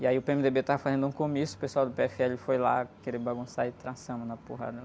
E aí o pê-eme-dê-bê estava fazendo um comício, o pessoal do pê-éfe-éle foi lá querer bagunçar e trançamos na porrada.